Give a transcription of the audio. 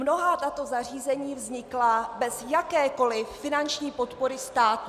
Mnohá tato zařízení vznikla bez jakékoliv finanční podpory státu.